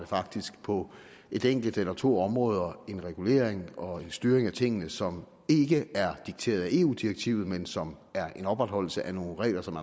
faktisk på et enkelt eller to områder en regulering og styring af tingene som ikke er dikteret af eu direktivet men som er en opretholdelse af nogle regler som